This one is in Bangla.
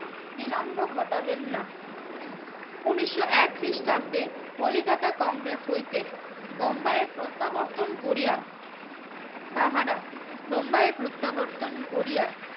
বিলম্ব ঘটালেন না উনিশশো এক খ্রিস্টাব্দে কলিকাতা কংগ্রেস হইতে বোম্বাইয়ের প্রত্যাবর্তন করিয়ে তাহারা বোম্বাইয়ের প্রত্যাবর্তন করিয়া